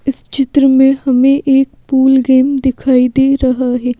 इस चित्र में हमें एक पूल गेम दिखाई दे रहा है।